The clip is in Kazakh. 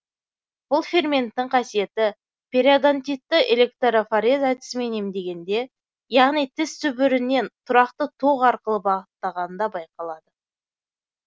бұл ферменттің қасиеті периодонтитті электрофорез әдісімен емдегенде яғни тіс түбіріне тұрақты ток арқылы бағыттағанда байқалады